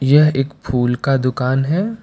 यह एक फूल का दुकान है।